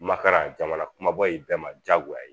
Makaran jamana kumabaw i bɛɛ ma diyagoya ye